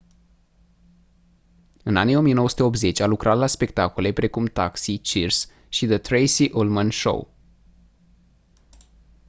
în anii 1980 a lucrat la spectacole precum taxi cheers și the tracey ullman show